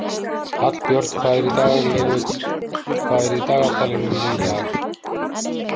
Hallbjörn, hvað er í dagatalinu mínu í dag?